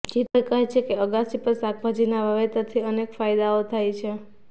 જીતુભાઈ કહે છે કે અગાસી પર શાકભાજીનાં વાવેતરથી અનેક ફાયદાઓ થાય છે